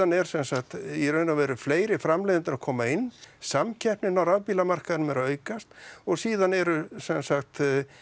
er sem sagt í raun og veru fleiri framleiðendur að koma inn samkeppnin á rafbílamarkaðnum er að aukast og síðan eru sem sagt